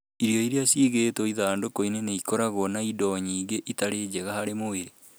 Irio iria ciigĩtwo ithandũkũ-inĩ nĩ ikoragwo na indo nyingĩ itarĩ njega harĩ mwĩrĩ.